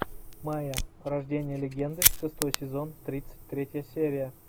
майя рождение легенды шестой сезон тридцать третья серия